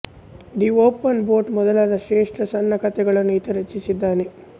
the open boat ಮೊದಲಾದ ಶ್ರೇಷ್ಠ ಸಣ್ಣ ಕಥೆಗಳನ್ನೂ ಈತ ರಚಿಸಿದ್ದಾನೆ